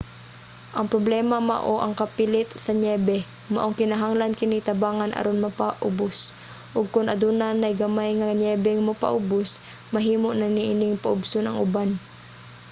ang problema mao ang kapilit sa niyebe maong kinahanglan kini tabangan aron mopaubos og kon aduna nay gamay nga niyebeng mopaubos mahimo na niining paubson ang uban